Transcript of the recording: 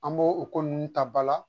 An b'o o ko ninnu ta ba la